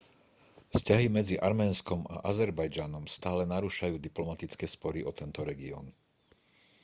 vzťahy medzi arménskom a azerbajdžanom stále narúšajú diplomatické spory o tento región